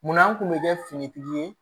Munna an kun bɛ kɛ finitigi ye